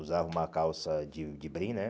Usava uma calça de de brim, né?